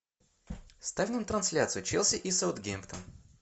ставь нам трансляцию челси и саутгемптон